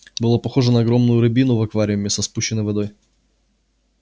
было похоже на огромную рыбину в аквариуме со спущенной водой